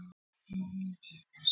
Viðtal við Guðjón Samúelsson